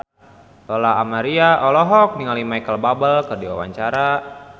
Lola Amaria olohok ningali Micheal Bubble keur diwawancara